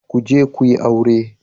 Ku je ku yi aure